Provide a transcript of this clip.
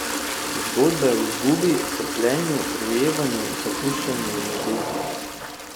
Zgodbe o izgubi, trpljenju, rojevanju, zapuščanju in ljubezni.